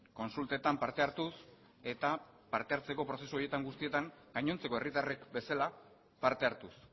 kontsultetan parte hartuz eta parte hartzeko prozesu horietan guztietan gainontzeko herritarrek bezala parte hartuz